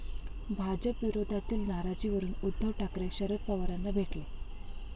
भाजपविरोधातील नाराजीवरून उद्धव ठाकरे, शरद पवारांना भेटले!